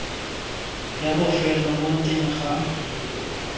ya bofelo mo teng ga